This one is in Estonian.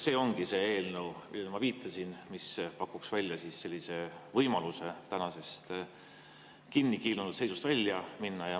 See ongi see eelnõu, millele ma viitasin ja mis pakuks võimaluse tänasest kinnikiilunud seisust välja tulla.